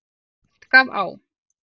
En oft gaf á.